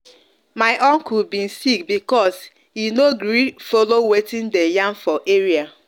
my uncle been sick bcos he no gree follow watin dem yarn for area